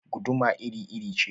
Guduma iri-iri ce